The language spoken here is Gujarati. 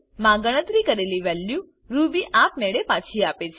માં ગણતરી કેરલી વેલ્યુ રૂબી આપ મેળે પાછી આપે છે